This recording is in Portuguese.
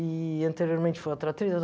E anteriormente foi outra atriz.